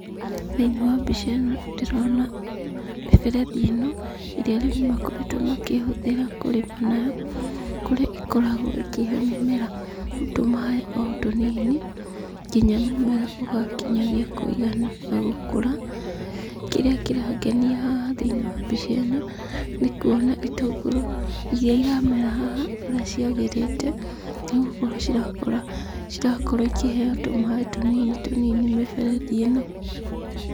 Thĩiniĩ wa mbica ĩno ndĩrona mĩberethi ĩno ĩrĩa arĩmi makoretwo makĩhũthĩra kũrĩma nayo, kũrĩa ĩkoragwo ĩkĩhe mĩmera tũmaaĩ o tũnini nginya mũmera ũgakinyagia kũigana na gũkũra. Kĩrĩa kĩrangenia haha thĩiniĩ wa mbica ĩno, nĩ kuona itũngũrũ iria iramera haha ũrĩa ciagĩrĩte nĩ gũkorwo ,cirakorwo ikĩheyo tũmaaĩ tũnini tũnini nĩ mĩberethi ĩno.